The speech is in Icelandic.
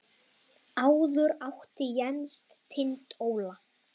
Áður átti Jens Tind Óla.